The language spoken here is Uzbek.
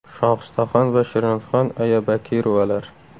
Shohistaxon va Shirinxon aya Bakirovalar.